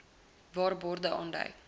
waar borde aandui